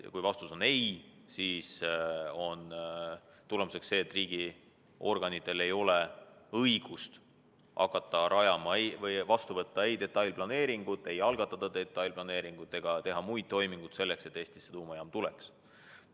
Kui vastus on ei, siis on tulemus see, et riigiorganitel ei ole õigust hakata seda rajama, algatada detailplaneeringut ega teha muid toiminguid selleks, et Eestisse tuumajaam tuleks.